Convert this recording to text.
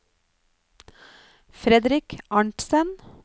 Fredrik Arntsen